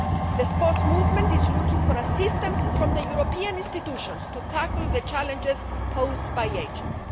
The sports movement is looking for assistance from the European institutions to tackle the challenges posed by agents.